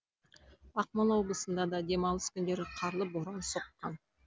ақмола облысында да демалыс күндері қарлы боран соққан